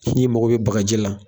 N'i mago bɛ bagaji la